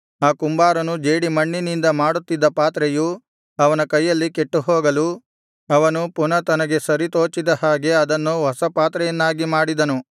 ಆ ಕುಂಬಾರನು ಜೇಡಿಮಣ್ಣಿನಿಂದ ಮಾಡುತ್ತಿದ್ದ ಪಾತ್ರೆಯು ಅವನ ಕೈಯಲ್ಲಿ ಕೆಟ್ಟುಹೋಗಲು ಅವನು ಪುನಃ ತನಗೆ ಸರಿತೋಚಿದ ಹಾಗೆ ಅದನ್ನು ಹೊಸ ಪಾತ್ರೆಯನ್ನಾಗಿ ಮಾಡಿದನು